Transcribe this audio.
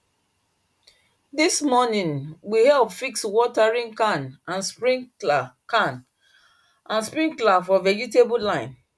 this morning we help fix watering can and sprinkler can and sprinkler for vegetable line